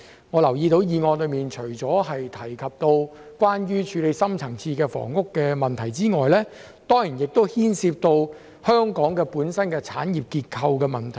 我留意到議案除提及處理深層次的房屋問題外，也涉及香港本身的產業結構問題。